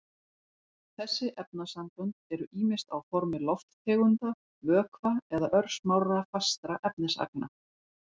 Þessi efnasambönd eru ýmist á formi lofttegunda, vökva eða örsmárra fastra efnisagna.